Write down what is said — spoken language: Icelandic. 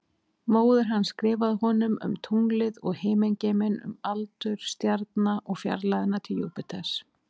Móðir hans skrifaði honum um tunglið og himingeiminn, um aldur stjarna og fjarlægðina til Júpiters.